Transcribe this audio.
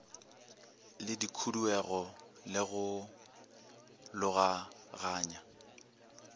le khuduego le go logaganya